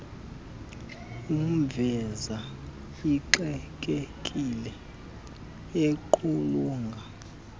umveza exakekile equlunqa